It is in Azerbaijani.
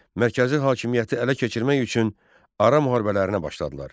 Mərkəzi hakimiyyəti ələ keçirmək üçün ara müharibələrinə başladılar.